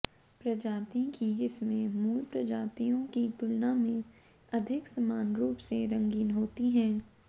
प्रजाति की किस्में मूल प्रजातियों की तुलना में अधिक समान रूप से रंगीन होती हैं